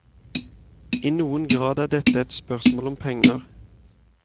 I noen grad er dette et spørsmål om penger.